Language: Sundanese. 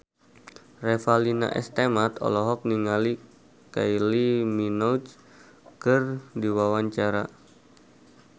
Revalina S. Temat olohok ningali Kylie Minogue keur diwawancara